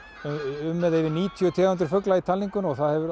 um eða yfir níutíu tegundir fugla í talningunni og það hefur